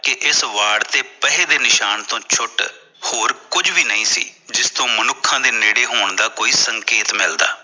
ਕਿ ਇਸ ਵਾਰਡ ਤੇ ਪਹੇ ਦੇ ਨਿਸ਼ਾਨ ਤੋਂ ਛੁਟ ਹੋਰ ਕੁਜ ਵੀ ਨਹੀਂ ਸੀ ਜਿਸ ਤੋਂ ਮਨੁੱਖਾ ਦੇ ਨੇੜੇ ਹੋਣ ਦਾ ਕੋਈ ਸੰਕੇਤ ਮਿਲਦਾ